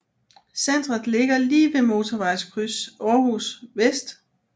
Centret ligger lige ved Motorvejskryds Århus Vest